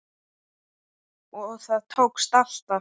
Og það tókst alltaf.